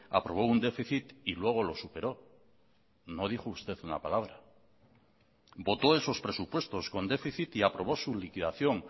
aprobó un déficit y luego lo superó no dijo usted una palabra votó esos presupuestos con déficit y aprobó su liquidación